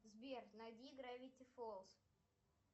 сбер найди гравити фоллз